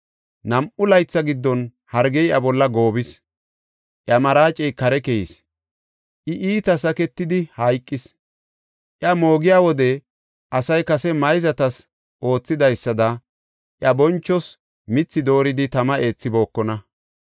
Nam7u laytha giddon hargey iya bolla goobis; iya maraacey kare keyis; I iita saketidi hayqis. Iya moogiya wode asay kase mayzatas oothidaysada iya bonchoos mithi dooridi tama eethibookona.